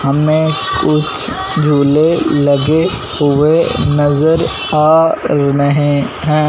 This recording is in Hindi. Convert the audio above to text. सामने कुछ झूले लगे हुए नजर आ रहे हैं।